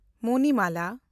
Monimala